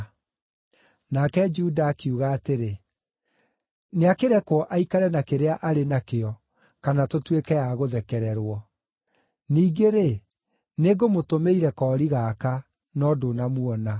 Nake Juda akiuga atĩrĩ, “Nĩakĩrekwo aikare na kĩrĩa arĩ nakĩo, kana tũtuĩke a gũthekererwo. Ningĩ-rĩ, nĩngũmũtũmĩire koori gaka, no ndũnamuona.”